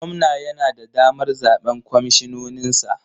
Gwamna yana da damar zaɓen kwamishinoninsa?